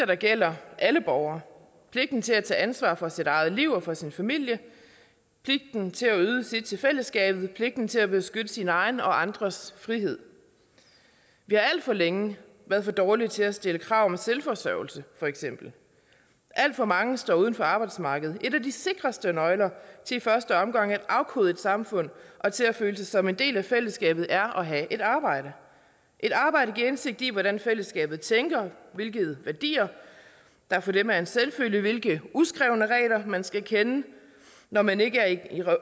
der gælder alle borgere pligten til at tage ansvar for sit eget liv og for sin familie pligten til at yde sit til fællesskabet pligten til at beskytte sine egen og andres frihed vi har alt for længe været for dårlige til at stille krav om selvforsørgelse for eksempel alt for mange står uden for arbejdsmarkedet en at de sikreste nøgler til i første omgang at afkode et samfund og til at føle sig som en del af fællesskabet er at have et arbejde et arbejde giver indsigt i hvordan fællesskabet tænker hvilke værdier der for dem er en selvfølge hvilke uskrevne regler man skal kende når man ikke